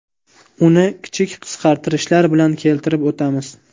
Uni kichik qisqartirishlar bilan keltirib o‘tamiz.